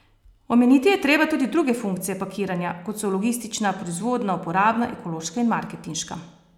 Omeniti je treba tudi druge funkcije pakiranja, kot so logistična, proizvodna, uporabna, ekološka in marketinška.